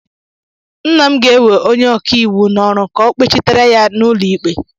Nna m ga-ewe onye ọka iwu n'ọrụ ka ọ gbachitere ya n'ụlọikpe